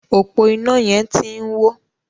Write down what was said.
ọpo iná yén tí ń wọ.